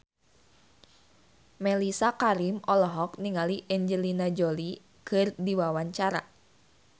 Mellisa Karim olohok ningali Angelina Jolie keur diwawancara